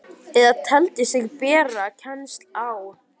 eða teldi sig bera kennsl á.